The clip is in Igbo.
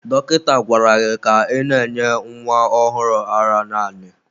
Dọkịta gwara gị ka ị na-enye nwa ọhụrụ a ara naanị!